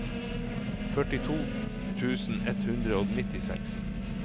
førtito tusen ett hundre og nittiseks